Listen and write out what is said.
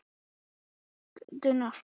THEODÓRA: Hvert er erindið til Reykjavíkur?